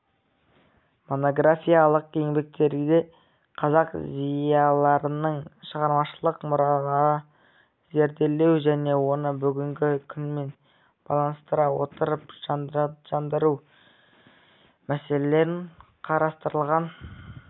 монографиялық еңбектерде қазақ зиялыларының шығармашылық мұраларын зерделеу және оны бүгінгі күнмен байланыстыра отырып жандандыру мәселелері қарастырылған